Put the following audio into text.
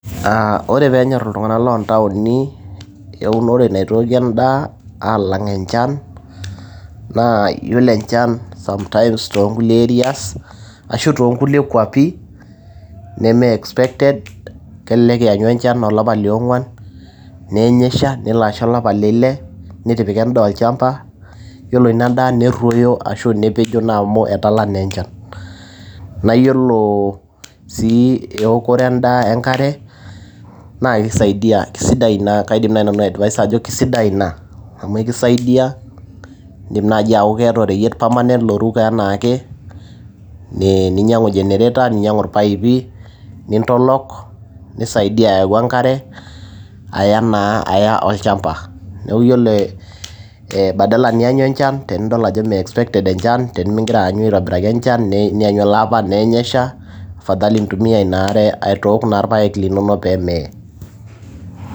Ah ore peenyor iltung'anak lontaoni eunore naitooki endaa alang' enchan, naa yiolo enchan sometimes tonkulie areas ,ashu tonkulie kwapi, neme expected ,kelelek ianyu enchan olapa le ong'uan, neeny esha, nelo asha olapa le eile, nittipika endaa olchamba. Yiolo inadaa, nerruoyo ashu nepejo amu etala naa enchan. Na yiolo si eokore endaa enkare, naa kisaidia kaidim nanu atesta atejo kasidai ina. Amu ekisaidia. Idim nai ataa iyata oreyiet permanent oruko enaake, ninyang'u generator ,ninyang'u irpaipi, nintolok, nisaidia ayau enkare, aya naa aya olchamba. Neeku yiolo eh badala nianyu enchan, tenidol ajo me expected enchan, tenigira ato aitobiraki aanyu enchan, niannyu elaapa, afadhali nintumia inaare aitook naa irpaek linonok pemee.